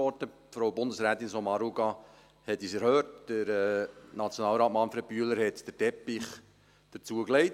Frau Bundesrätin Sommaruga hat uns erhöht, Nationalrat Manfred Bühler hat den Teppich dazu gelegt.